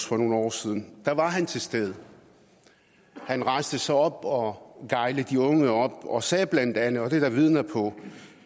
for nogle år siden var han til stede han rejste sig op og gejlede de unge op og sagde blandt andet og det er der vidner på